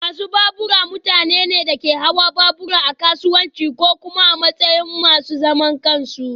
Masu babura mutane ne da ke hawan babura a kasuwanci ko kuma a matsayin masu zaman kansu